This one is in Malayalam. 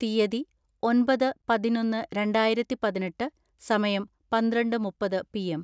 തിയ്യതി, ഒൻപത് പതിനൊന്ന് രണ്ടായിരത്തിപതിനെട്ട്, സമയം, പന്ത്രണ്ട് മുപ്പത് പി.എം